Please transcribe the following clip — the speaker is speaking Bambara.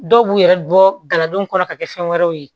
Dɔw b'u yɛrɛ bɔ galadonw kɔnɔ ka kɛ fɛn wɛrɛw ye